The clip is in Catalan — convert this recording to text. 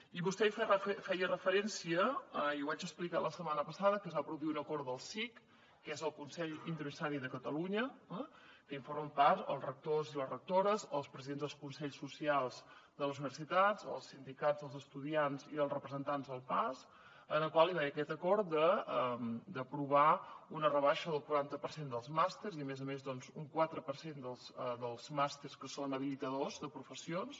i vostè hi feia referència i ho vaig explicar la setmana passada que es va produir un acord del cic que és el consell interuniversitari de catalunya que en formen part els rectors i les rectores els presidents dels consells socials de les universitats els sindicats dels estudiants i els representants del pas en el qual hi va haver aquest acord d’aprovar una rebaixa del quaranta per cent dels màsters i a més a més un quatre per cent dels màsters que són habilitadors de professions